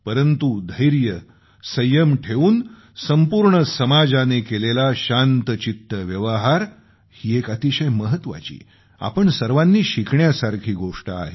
परंतु धैर्य संयम ठेवून संपूर्ण समाजाने केलेला शांतचित्त व्यवहार ही एक अतिशय महत्वाची आपण सर्वांनी शिकण्यासारखी गोष्ट आहे